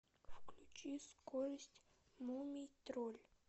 включи скорость мумий тролль